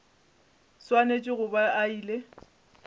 swanetše go ba a ile